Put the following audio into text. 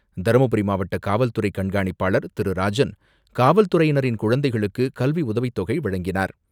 தருமபுரி மாவட்ட காவல்துறை கண்காணிப்பாளர் திரு ராஜன், காவல்துறையினரின் குழந்தைகளுக்கு கல்வி உதவித்தொகை வழங்கினார்.